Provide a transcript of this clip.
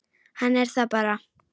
Hann er það bara.